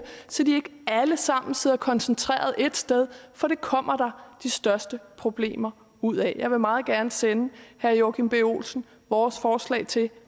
så de ikke alle sammen sidder koncentreret et sted for det kommer der de største problemer ud af jeg vil meget gerne sende herre joachim b olsen vores forslag til